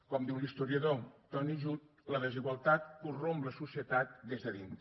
com diu l’historiador tony judt la desigualtat corromp la societat des de dins